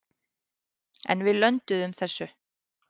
En við lönduðum þessu.